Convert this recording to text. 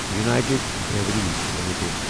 united Breweries limited